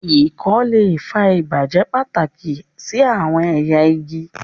ikon le fa ibajẹ pataki si awọn ẹya igi.